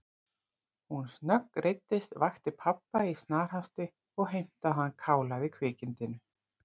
Hún snöggreiddist, vakti pabba í snarhasti og heimtaði að hann kálaði kvikindinu.